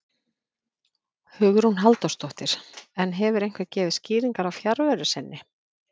Hugrún Halldórsdóttir: En hefur einhver gefið skýringar á fjarveru sinni?